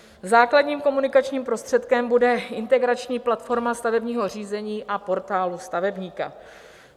Základním komunikačním prostředkem bude integrační platforma stavebního řízení a Portálu stavebníka.